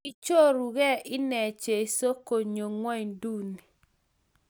Kichoruge inne jeso konyo ngonyuni